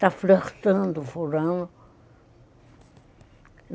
Está flertando, furando.